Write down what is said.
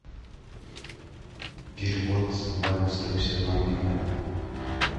перевод ване сто пятьдесят мобильный